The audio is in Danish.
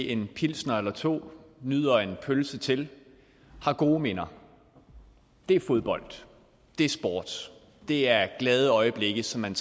en pilsner eller to nyder en pølse til har gode minder det er fodbold det er sport det er glade øjeblikke som man